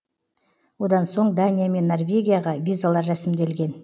одан соң дания мен норвегияға визалар рәсімделген